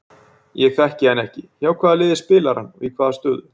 Ég þekki hann ekki, hjá hvaða liði spilar hann og í hvaða stöðu?